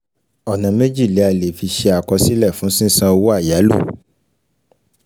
Bí ilé-iṣẹ bá ṣì ń fẹ́ láti ní ìṣèdúró, yóò nílò láti rà síi.